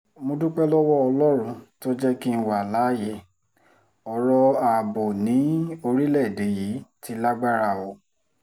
mo dúpẹ́ lọ́wọ́ ọlọ́run tó jẹ́ kí n wà láàyè ọ̀rọ̀ ààbò ni orílẹ̀‐èdè yìí ti lágbára o